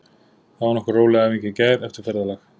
Það var nokkuð róleg æfing í gær eftir ferðalag.